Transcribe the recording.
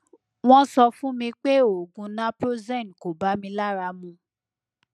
wọn sọ fún mi pé oògùn naproxen kò bá mi lára mu